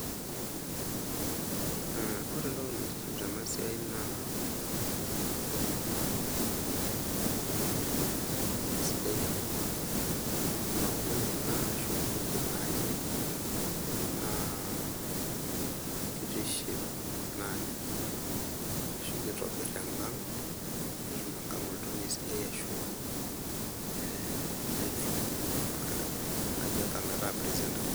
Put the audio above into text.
Mh,ore entoki naitiship tena siai e kajo nanu emaua ena ashuaa inkujit nanyor naa kitiship naji ashu kitobir enkang, netum enkang oltoniei sidai ashu ee netum naji enkang ataa presentable.